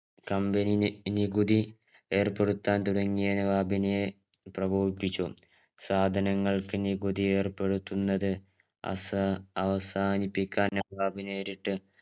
company നി നികുതി ഏർപെടുത്തതനെ നവാബിനെ പ്രകോപിപ്പിച്ചു സാധനങ്ങൾക്ക് നികുതി ഏർപ്പെടുത്തുന്നത് അസ അവസാനിപ്പിക്കാൻ നവാബ് നേരിട്ട്